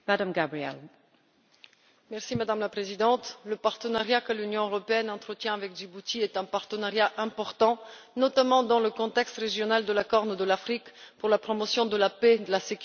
Madame la Présidente, le partenariat que l'Union européenne entretient avec Djibouti est important, notamment dans le contexte régional de la Corne de l'Afrique, pour la promotion de la paix, de la sécurité et de la lutte contre la piraterie.